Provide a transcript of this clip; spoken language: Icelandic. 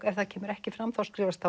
ef það kemur ekki fram skrifast